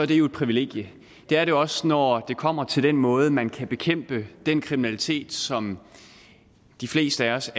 det jo et privilegie det er det også når det kommer til den måde man kan bekæmpe den kriminalitet på som de fleste af os